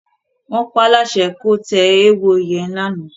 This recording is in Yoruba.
Wọ́n paáláṣẹ kó tẹ eéwo yẹn lánàá.